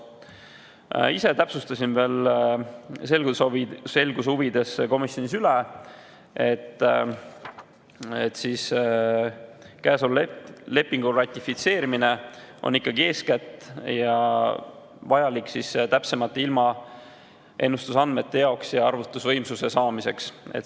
Ma ise täpsustasin veel selguse huvides komisjonis üle, et käesoleva lepingu ratifitseerimine on ikkagi eeskätt vajalik täpsemate ilmaennustusandmete jaoks ja arvutusvõimsuse saamiseks.